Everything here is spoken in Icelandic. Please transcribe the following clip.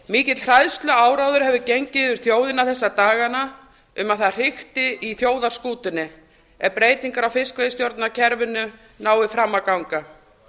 mikill hræðsluáróður hefur gengið um þjóðina þessa dagana um að það hrikti í þjóðarskútunni ef breytingar á fiskveiðistjórnarkerfinu nái fram að ganga